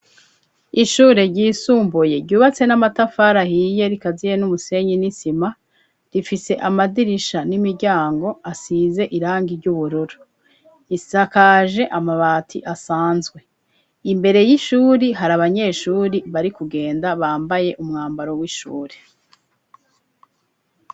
Ishure ryisumbuye, ryubatse n'amatafari ahiye, rikaziye n'umusenyi, n'isima; rifise amadirisha, n'imiryango, asize irangi ry'ubururu; isakaje amabati, asanzwe; imbere y'ishuri, hari abanyeshuri, bari kugenda, bambaye umwambaro, w'ishuri.